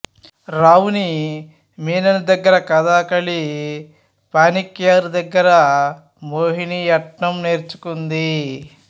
రావున్ని మీనన్ దగ్గర కథాకళి పానిక్కర్ దగ్గర మోహినియట్టం నేర్చుకుంది